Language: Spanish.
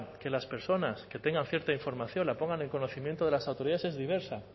que las personas que tengan cierta información la pongan en conocimiento de las autoridades es diversa